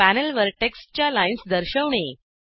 पॅनलवर टेक्स्टच्या लाइन्स दर्शवणे